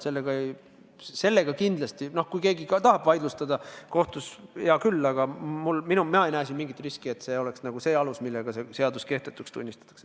Kui keegi ka tahaks selle vaidlustada kohtus, siis hea küll, aga mina ei näe siin mingit riski, et see on see alus, millega meie seadus kehtetuks tunnistatakse.